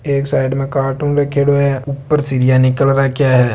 एक साइड में कार्टून रखेडॉ है ऊपर सीरिया निकाल रखिया है।